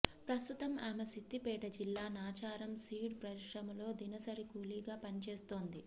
ప్రస్తుతం ఆమె సిద్దిపేట జిల్లా నాచారం సీడ్ పరిశ్రమలో దినసరి కూలీ గా పని చేస్తోంది